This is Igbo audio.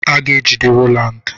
A ga-ejide Rowland.